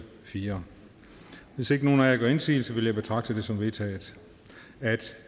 fjerde hvis ikke nogen af jer gør indsigelse vil jeg betragte det som vedtaget